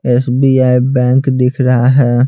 SBI bank दिख रहा है।